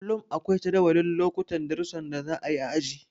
Kullum akwai jadawalin lokutan darusan da za a yi a aji.